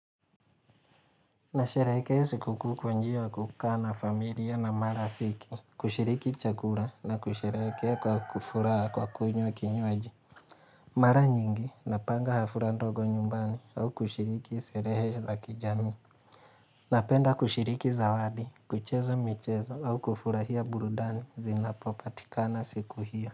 Nasherekea sikukuu kwa njia ya kukaa na familia na marafiki, kushiriki chakura na kusherehekea kwa kufuraha kwa kunywa kinywaji. Mara nyingi, napanga hafura ndogo nyumbani au kushiriki serehe za kijami. Napenda kushiriki zawadi, kucheza michezo au kufurahia burudani zinapopatikana siku hiyo.